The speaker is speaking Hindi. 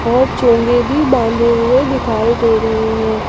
और चोंगे भी बांधे हुए दिखाई दे रहे हैं।